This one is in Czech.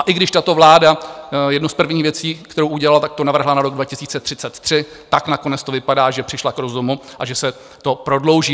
A i když tato vláda jednu z prvních věcí, kterou udělala, tak to navrhla na rok 2033, tak nakonec to vypadá, že přišla k rozumu a že se to prodlouží.